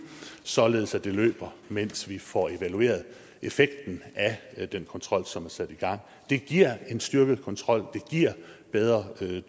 således at det løber mens vi får evalueret effekten af den kontrol som er sat i gang det giver en styrket kontrol det giver bedre